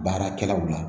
Baarakɛlaw la